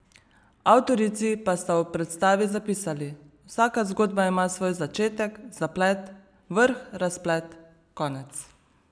Avtorici pa sta o predstavi zapisali: 'Vsaka zgodba ima svoj začetek, zaplet, vrh, razplet, konec.